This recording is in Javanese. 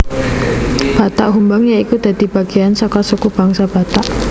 Batak Humbang ya iku dadi bagean saka suku bangsa Batak